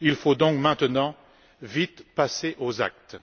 Il faut donc maintenant vite passer aux actes.